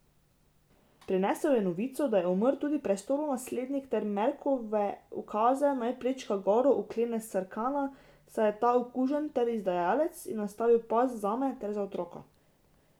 Prinesel je novico, da je umrl tudi prestolonaslednik, ter Marekove ukaze, naj prečka gore, uklene Sarkana, saj je ta okužen ter izdajalec, in nastavi past zame ter za otroka.